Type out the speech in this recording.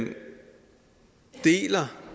deler